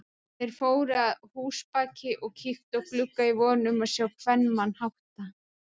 Þeir fóru að húsabaki og kíktu á glugga í von um að sjá kvenmann hátta.